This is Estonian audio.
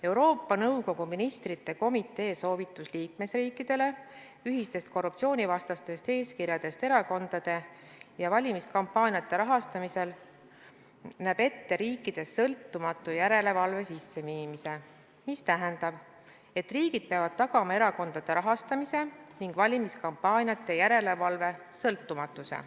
Euroopa Nõukogu Ministrite Komitee soovitus liikmesriikidele ühiste korruptsioonivastaste eeskirjade kohta erakondade ja valimiskampaaniate rahastamisel näeb ette riikides sõltumatu järelevalve kehtestamise, mis tähendab, et riigid peavad tagama erakondade rahastamise ning valimiskampaaniate järelevalve sõltumatuse.